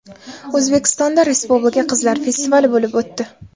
O‘zbekistonda I Respublika qizlar festivali bo‘lib o‘tdi.